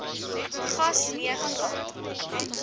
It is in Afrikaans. gas nee glad